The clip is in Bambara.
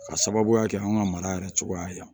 K'a sababuya kɛ an ka mara yɛrɛ cogoya ye